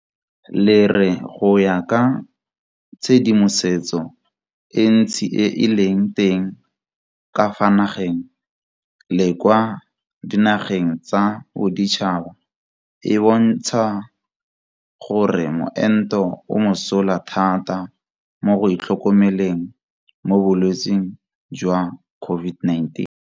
le re go ya ka tshedimosetso e ntsi e e leng teng ka fa nageng le kwa dinageng tsa boditšhaba e bontsha gore moento o mosola thata mo go itlhokomeleng mo bolwetseng jwa COVID19.